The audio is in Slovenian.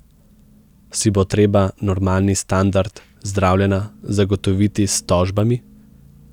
Si bo treba normalni standard zdravljenja zagotoviti s tožbami?